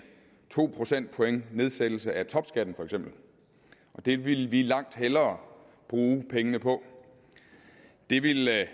to procentpoints nedsættelse af topskatten og det ville vi langt hellere bruge pengene på det ville